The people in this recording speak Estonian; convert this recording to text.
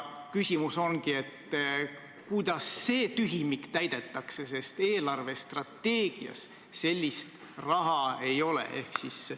Küsimus ongi, kuidas see tühimik täidetakse, sest eelarvestrateegias seda raha ei ole.